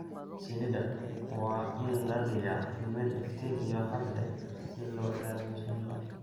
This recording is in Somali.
Shinnida waa in la dhigaa meel iftiin iyo hadh leh si loo ilaaliyo shinnida